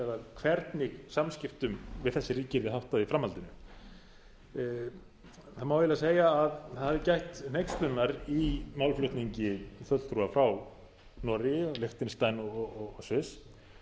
hvernig samskiptum við þessi ríki yrði háttað í framhaldinu það má eiginlega segja að það hafi gætt hneykslunar í málflutningi fulltrúa frá noregi liechtenstein og sviss